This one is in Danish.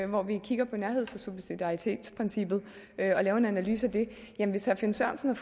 hvor vi kigger på nærheds og subsidiaritetsprincippet og laver en analyse af det at hvis herre finn sørensen